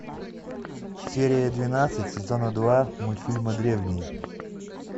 серия двенадцать сезона два мультфильма древние